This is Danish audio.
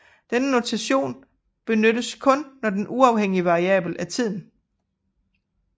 Denne notation benyttes kun når den uafhængige variabel er tiden